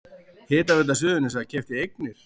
Hitaveita Suðurnesja keypti eignir